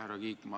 Härra Kiik!